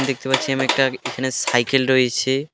দেখতে পাচ্ছি আমি একটা এখানে সাইকেল রয়েছে.